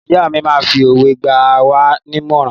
Ìyá mi máa ń fi òwe gba wá nímọ̀ràn.